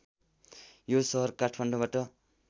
यो सहर काठमाडौँबाट